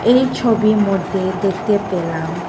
এই ছবি মধ্যে দেখতে পেলাম--